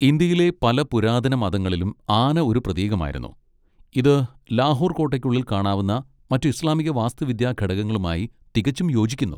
ഇന്ത്യയിലെ പല പുരാതനമതങ്ങളിലും ആന ഒരു പ്രതീകമായിരുന്നു, ഇത് ലാഹോർ കോട്ടയ്ക്കുള്ളിൽ കാണാവുന്ന മറ്റ് ഇസ്ലാമിക വാസ്തുവിദ്യാ ഘടകങ്ങളുമായി തികച്ചും യോജിക്കുന്നു.